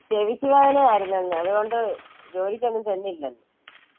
ചെവിക്ക് വേദനയായിരുന്നെന്ന്. അതുകൊണ്ട് ജോലിക്ക് ഒന്നും ചെന്നില്ലെന്ന്.